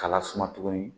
K'a lasuma tuguni